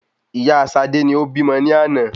Ìyá Sade ni o bímọ ni àná